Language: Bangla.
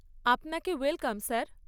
আপনাকে ওয়েলকাম, স্যার।